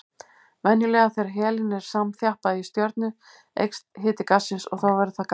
Venjulega þegar helín er samþjappað í stjörnu eykst hiti gassins og þá verður það gagnsætt.